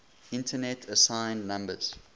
internet assigned numbers